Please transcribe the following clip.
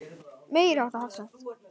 Meiriháttar hafsent.